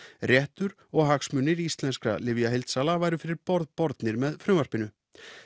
réttur og hagsmunir íslenskra lyfjaheildsala væru fyrir borð bornir með frumvarpinu